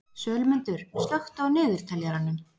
Sölmundur, slökktu á niðurteljaranum.